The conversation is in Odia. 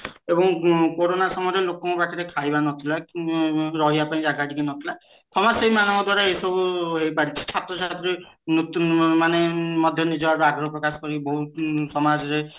ଏବଂ କୋରୋନା ସମୟରେ ଲୋକଙ୍କ ପାଖରେ ଖାଇବା ନଥିଲା ବ ରହିବା ପାଇଁ ରହିବା ପାଇଁ ଟିକେ ଜାଗା କିଛି ନଥିଲା ସମାଜସେବୀ ମାନଙ୍କ ଦ୍ଵାରା ଏହି ସବୁ ହେଇପାରିଛି ଛାତ୍ରଛାତ୍ରୀ ମାନେ ମଧ୍ୟ ଆଗ୍ରହ ପ୍ରକାଶ କରି ବହୁତ ସମାଜରେ